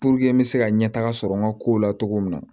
n bɛ se ka ɲɛ taga sɔrɔ n ka kow la cogo min na